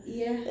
Ja